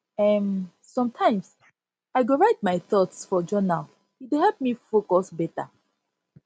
um sometimes i go write my thoughts for journal e dey help me focus beta